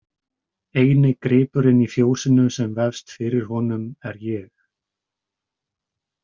Eini gripurinn í fjósinu sem vefst fyrir honum er ég.